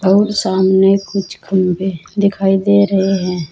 और सामने कुछ खंभे दिखाई दे रहे हैं।